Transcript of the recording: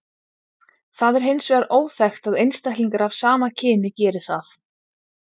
Það er hins vegar óþekkt að einstaklingar af sama kyni geri það.